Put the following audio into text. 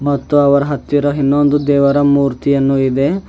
ಮತ್ತು ಅವರ ಹತ್ತಿರ ಇನ್ನೊಂದು ದೇವರ ಮೂರ್ತಿಯನ್ನು ಇದೆ.